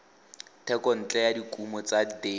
thekontle ya dikumo tsa deri